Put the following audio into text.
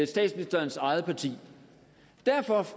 statsministerens eget parti derfor